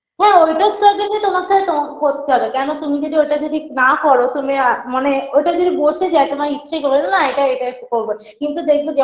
হ্যাঁ ওইটার struggle -এ তোমাকে তোমাকে করতে হবে কেনো তুমি যদি ওটা যদি না করো তুমি আ মানে ওটা যদি বসে যায় তোমার ইচ্ছাই করবে না যে এটা এটা করবো কিন্তু দেখবে যখন